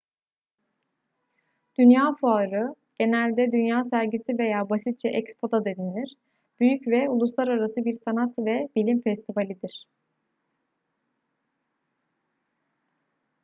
dünya fuarı genelde dünya sergisi veya basitçe expo da denilir büyük ve uluslararası bir sanat ve bilim festivalidir